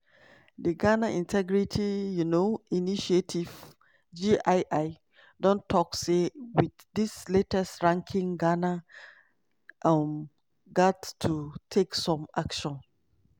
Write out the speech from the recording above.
di ghana integrity um initiative (gii) don tok say wit dis latest ranking ghana um gat to take some action.